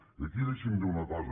i aquí deixi’m dir una cosa